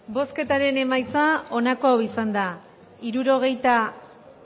bozketaren emaitza onako izan da hirurogeita